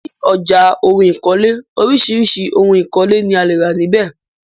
Ní ọjà ohun ìkọ́lé, oríṣiríṣi òhun ìkọ́lé ni a lè rà níbè.